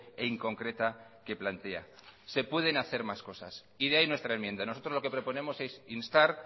e inconcreta que plantea se pueden hacer más cosas y de ahí nuestra enmienda nosotros lo que proponemos es instar